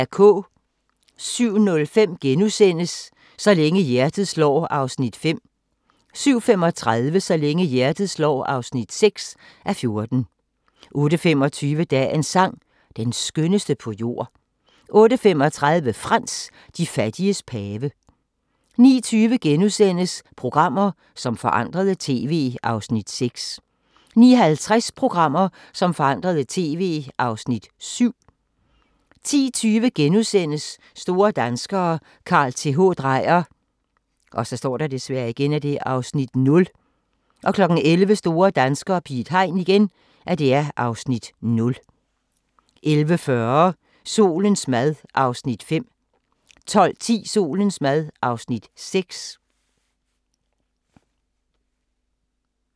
07:05: Så længe hjertet slår (5:14)* 07:35: Så længe hjertet slår (6:14) 08:25: Dagens sang: Den skønneste på jord 08:35: Frans: De fattiges pave 09:20: Programmer, som forandrede TV (Afs. 6)* 09:50: Programmer som forandrede TV (Afs. 7) 10:20: Store danskere - Carl Th. Dreyer (Afs. 0)* 11:00: Store danskere - Piet Hein (Afs. 0) 11:40: Solens mad (Afs. 5) 12:10: Solens mad (Afs. 6)